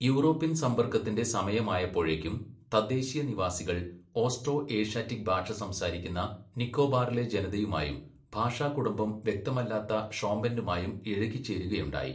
European സമ്പർക്കത്തിന്റെ സമയമായപ്പോഴേക്കും തദ്ദേശീയ നിവാസികൾ ഓസ്ട്രോ ഏഷ്യാറ്റിക് ഭാഷ സംസാരിക്കുന്ന നിക്കോബാറിലെ ജനതയുമായും ഭാഷാകുടുംബം വ്യക്തമല്ലാത്ത ഷോമ്പെന്നുമായും ഇഴുകിച്ചേരുകയുണ്ടായി.